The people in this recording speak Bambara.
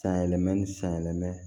Sanyɛlɛma ni sanyɛlɛma